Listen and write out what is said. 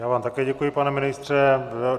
Já vám také děkuji, pane ministře.